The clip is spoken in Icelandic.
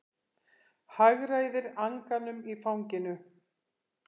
Hagræðir anganum í fanginu.